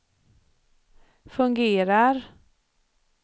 fungerar